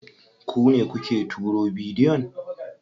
Ku ne kuke turo bidiyon?